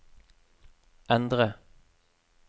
endre